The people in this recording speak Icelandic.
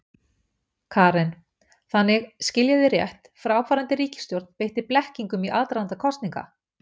Karen: Þannig, skil ég þig rétt, fráfarandi ríkisstjórn beitti blekkingum í aðdraganda kosninga?